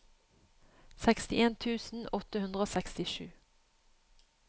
sekstien tusen åtte hundre og sekstisju